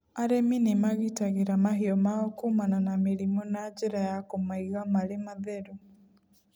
Arĩmi nĩma gitagĩra mahiũ mao kuumana na mĩrimũ na njĩra ya kũmaiga marĩ matheru.